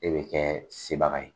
E de bɛ kɛ sebaga ye